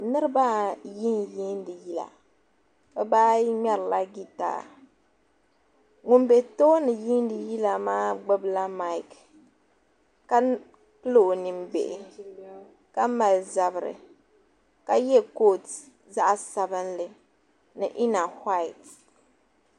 Niriba ayi n yiindi yila dabba ayi mŋɛrila jitaya ŋuni bɛ tooni yiindi yila maa gbubila maiki yɛla ka pili o nin bihi ka mali zabiri ka yiɛ koot zaɣi sabinli ni ena huat.